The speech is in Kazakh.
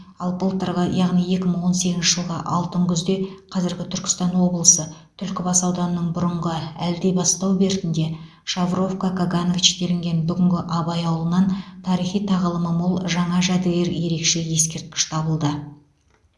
ал былтырғы яғни екі мың он сегізінші жылғы алтын күзде қазіргі түркістан облысы түлкібас ауданының бұрынғы әлдибастау бертінде шавровка каганович делінген бүгінгі абай ауылынан тарихи тағылымы мол жаңа жәдігер ерекше ескерткіш табылды